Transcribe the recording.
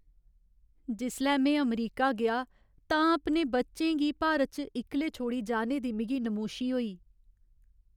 जिसलै में अमरीका गेआ तां अपने बच्चें गी भारत च इक्कले छोड़ी जाने दी मिगी नमोशी होई।